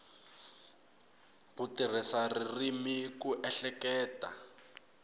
ku tirhisa ririmi ku ehleketa